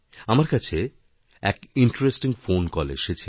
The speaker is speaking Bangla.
আমারকাছে এক ইন্টারেস্টিং ফোন কল এসেছিল